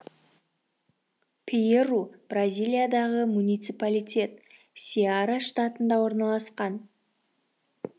перейру бразилиядағы муниципалитет сеара штатында орналасқан